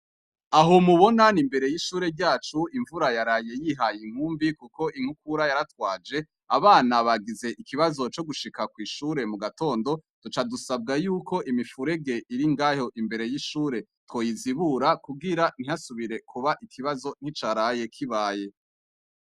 Aho mubona n' imbere yishure ryacu imvura yaraye yihaye inkumbi kuko inkukura yaratwaje abana bagize ikibazo cogushika kwishure mugatondo duca dusabwa yuko imifurege iringaho imbere yishure twoyizibura kugira ntihasubira kuba ikibazo nkicaraye kibaye.